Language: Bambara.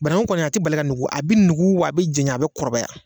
Banagun kɔni a tɛ bali ka nugu a bɛ nugu wa a bɛ janya a bɛ kɔrɔbaya.